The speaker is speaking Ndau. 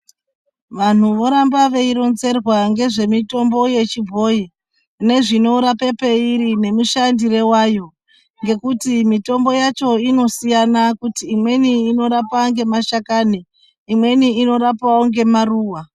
Vantu voramba veironzerwa ngezvemutombo yechibhoyi nezvinorape peiri nemushandire wayo ngekuti mitombo yacho inosiyana kuti imweni inorapa ngemashakani, imweni inorapawo ngemaruwa.